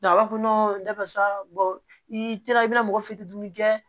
a b'a fɔ ko i taara i bɛna mɔgɔ fitinin kɛ